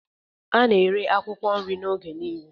A na-eri akwụkwọ nrị m oge niile.